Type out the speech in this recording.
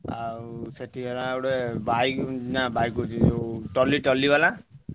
ଆଉ ସେଠୀ ହେଲା ଗୋଟେ bike ନା bike କହୁଛି ଯୋଉ ଟଲି ଟଲି ବାଲା।